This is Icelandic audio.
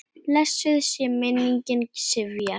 Blessuð sé minning Sifjar.